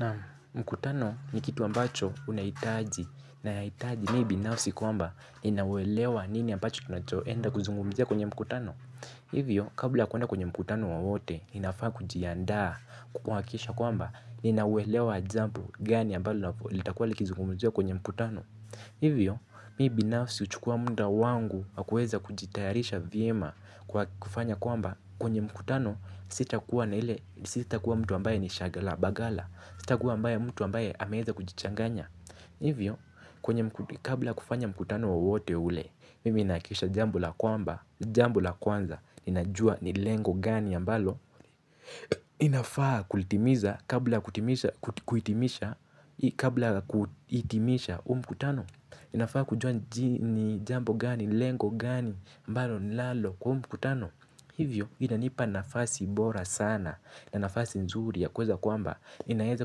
Naam, mkutano ni kitu ambacho unahitaji na yahitaji mimi binafsi kwamba nina uwelewa wa nini ambacho tunacho enda kuzungumzia kwenye mkutano. Hivyo kabla ya kwenda kwenye mkutano wowote ninafaa kujiandaa, kukuhakikisha kwamba nina uelewa wa jambo gani ambalo litakuwa likizungumziwa kwenye mkutano. Hivyo mimi binafsi huchukua muda wangu na kuweza kujitayarisha vyema kufanya kwamba kwenye mkutano sitakuwa na ile, sitakuwa mtu ambaye ni shaghala baghala. Sita kuwa mtu ambaye ameweza kujichanganya. Hivyo, kabla ya kufanya mkutano wowote ule, mimi nahakikisha jambo la kwanza ninajua ni lengo gani ambalo ninafaa kulitimiza kabla kuhitimisha huu mkutano. Ninafaa kujua ni jambo gani, lengo gani, ambalo ninalo kwa huu mkutano. Hivyo, inanipa nafasi bora sana na nafasi nzuri ya kuweza kwamba ninaweza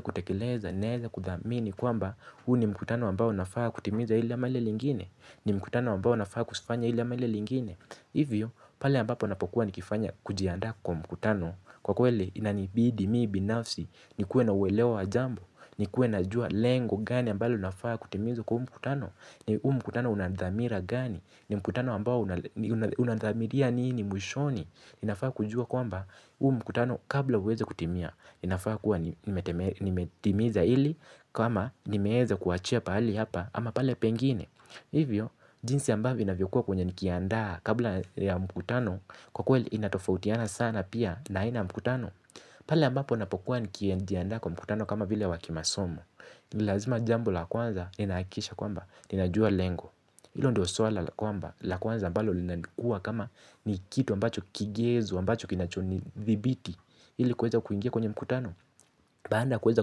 kutekeleza, ninaweza kuthamini kwamba huu ni mkutano ambao nafaa kutimiza hili ama lile lingine. Ni mkutano ambao nafaa kufanya hili ama lile lingine. Hivyo, pale ambapo napokua nikifanya kujiandaa kwa mkutano, kwa kweli inanibidi mimi binafsi nikuwe na uwelewa wa jambo nikuwe najua lengo gani ambalo linafaa kutimizwa kwa huu mkutano. Huu mkutano una dhamira gani? Ni mkutano ambao unadhamiria nini mwishoni. Ninafaa kujua kwamba huu mkutano kabla uweze kutimia ninafaa kuwa nimetimiza hili ama nimeweza kuachia pali hapa ama pale pengine. Hivyo, jinsi ambavyo inavyokuwa kwenye nikiandaa kabla ya mkutano, kwa kweli inatofautiana sana pia na aina ya mkutano. Pale ambapo napokuwa nikijiandaa kwa mkutano kama vile wakimasomo. Nilazima jambo la kwanza ninahakikisha kwamba, ninajua lengo. Hilo ndilo swala la kwanza ambalo linakuwa kama ni kitu ambacho kigezo, ambacho kinacho nithibiti ili kuweza kuingia kwenye mkutano. Baada kuweza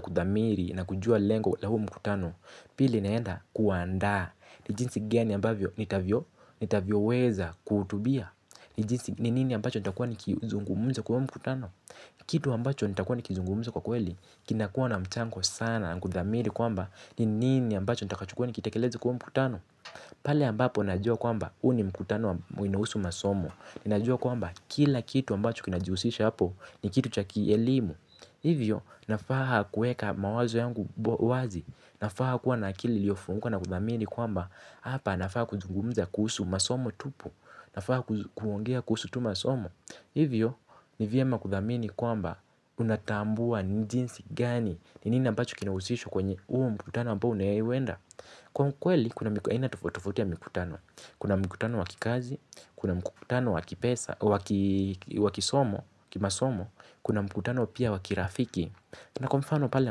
kudhamiri na kujua lengo la huu mkutano. Pili naenda kuandaa ni jinsi gani ambavyo nitavyoweza kuhutubia. Ni nini ambacho nitakuwa nikizungumza kwa huo mkutano. Kitu ambacho nitakuwa nikizungumza kwa kweli, kinakuwa na mchango sana na kudhamiri kwamba, ni nini ambacho nitakochukua nikatakeleze kwa huo mkutano. Pale ambapo najua kwamba huu ni mkutano inaohusu masomo. Ninajua kwamba kila kitu ambacho kinajihusisha hapo ni kitu cha kielimu. Hivyo nafaa kuweka mawazo yangu wazi. Nafaa kuwa na akili iliofunguka na kudhamini kwamba hapa nafaa kuzungumza kuhusu masomo tupu. Nafaa kuongea kuhusu tu masomo. Hivyo, ni vyema kudhamini kwamba unatambua ni jinsi gani. Ni nini ambacho kinahusishwa kwenye huo mkutano ambao unauwenda. Kwa ukweli, kuna aina tofauti tofauti ya mkutano. Kuna mkutano wa kikazi, kuna mkutano wa kipesa. Wakisomo, kimasomo, kuna mkutano pia wakirafiki. Na kwa mfano pale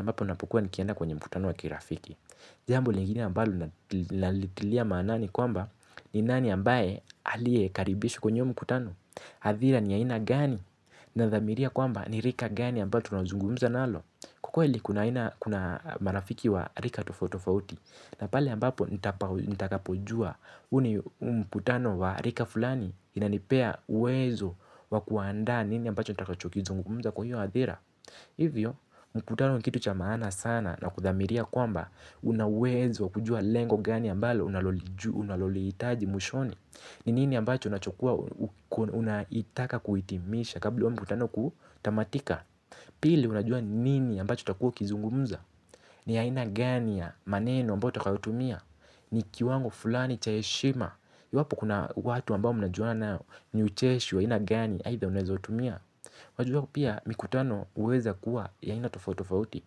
ambapo napokuwa nikienda kwenye mkutano wakirafiki. Jambo lingine ambalo ninalitilia manani kwamba ninani ambaye alie karibishwa kwenye huo mkutano. Hadhira ni ya aina gani? Nadhamiria kwamba ni rika gani ambalo tunazungumza nalo. Kwa kweli kuna marafiki wa rika tofauti tofauti, na pale ambapo nitakapojua huu ni mkutano wa rika fulani. Inanipea uwezo wakuandaa nini ambacho nitakacho kizungumza kwa hiyo hadhira. Hivyo mkutano ni kitu cha maana sana na kudhamiria kwamba una uwezo wa kujua lengo gani ambalo unalolihitaji mwishoni. Ninini ambacho unaitaka kuhitimisha kabla huu mkutano kutamatika. Pili unajua ni nini ambacho utakua ukizungumza. Ni aina gani ya maneno ambayo utakayotumia. Ni kiwango fulani cha heshima. Iwapo kuna watu ambao mnajuana nao ni ucheshi wa aina gani aitha uneweza utumia. Wajua pia mikutano huweza kuwa ya aina tofauti tofauti.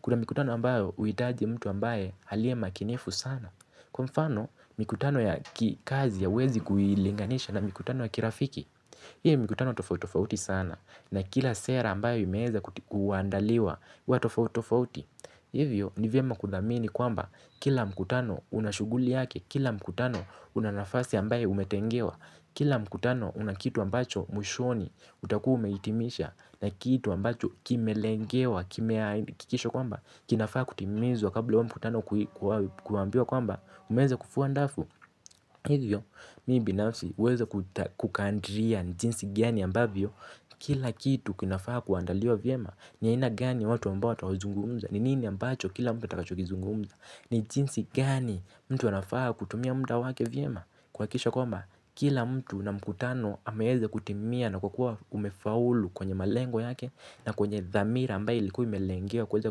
Kuna mikutano ambayo huhitaji mtu ambaye aliyemakinifu sana. Kwa mfano, mikutano ya kazi hauwezi kuilinganisha na mikutano ya kirafiki. Ilebmikutano tofauti tofauti sana na kila sera ambayo imeweza kuandaliwa huwa tofauti tofauti. Hivyo ni vyema kudhamini kwamba kila mkutano una shughuli yake, kila mkutano una nafasi ambaye umetengewa, kila mkutano una kitu ambacho mwishoni utakuwa umehitimisha na kitu ambacho kimelengewa, kimehakikishwa kwamba, kinafaa kutimizwa kabla huo mkutano kuambiwa kwamba, umeweza kufua dafu. Hivyo, mimi binafsi huweza kukadria ni jinsi gani ambavyo kila kitu kinafaa kuandaliwa vyema. Ni aina gani ya watu ambao wataozungumza. Ni nini ambacho kila mtu atakachokizungumza. Ni jinsi gani mtu anafaa kutumia muda wake vyema. Kuhakikisha kwamba, kila mtu na mkutano ameweza kutimia na kukuwa umefaulu kwenye malengo yake. Na kwenye dhamira ambayo ilikuwa imelengewa kuweza ku.